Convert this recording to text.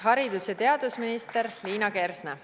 Haridus- ja teadusminister Liina Kersna.